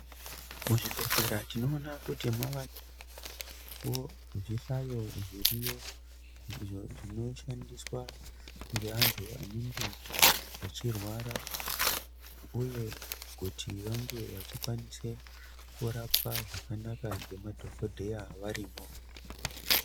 Muzvibhedhleya tinoona kuti mavavo zvihlayo zviriyo. Izvo zvinoshandiswa ngevantu vanenge vachirwara, uye kuti vangevachikwanise kurapwa zvakanaka ngemadhogodheya varimo.